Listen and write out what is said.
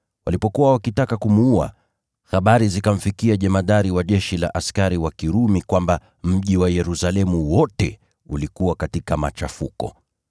Walipokuwa wakitaka kumuua, habari zikamfikia jemadari wa jeshi la askari wa Kirumi kwamba mji wa Yerusalemu wote ulikuwa katika machafuko.